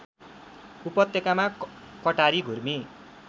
उपत्यकामा कटारी घुर्मी